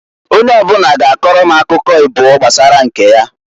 Onye ọbụna ga akọrọ m akụkọ ịbụọ gbasara nke ya.